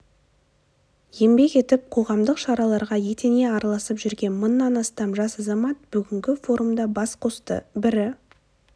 еңбек етіп қоғамдық шараларға етене араласып жүрген мыңнан астам жас азамат бүгінгі форумда бас қосты бірі